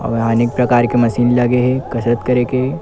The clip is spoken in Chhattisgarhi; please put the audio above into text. अउ यहाँ अनेक प्रकार के मशीन लगे हे कसरत करे के--